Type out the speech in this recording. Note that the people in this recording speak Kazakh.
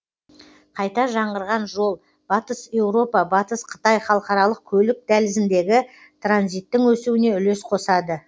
қайта жаңғырған жол батыс еуропа батыс қытай халықаралық көлік дәлізіндегі транзиттің өсуіне үлес қосады